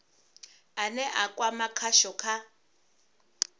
ane a kwama khasho kha